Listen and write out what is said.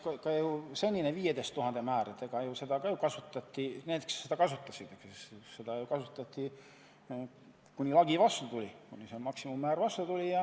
Ka senist 15 000 euro määra kasutati ju – need, kes seda kasutasid – seni, kuni lagi vastu tuli ja maksimummäärani jõuti.